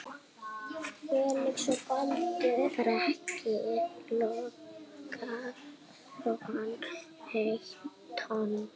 Breki Logason: Eitt tonn?